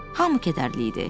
Hamı kədərli idi.